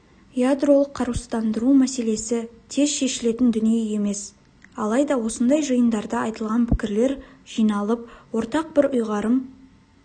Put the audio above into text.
ядролық қарусыздандыру мәселесі тез шешілетін дүние емес алайда осындай жиындарда айталған пікірлер жиналып ортақ бір ұйғарым